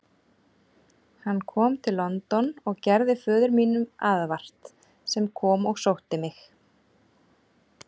Hann kom til London og gerði föður mínum aðvart, sem kom og sótti mig.